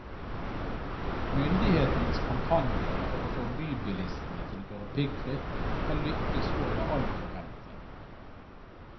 Myndighetenes kampanje for å få bybilistene til å kjøre piggfritt har lykkes over all forventning.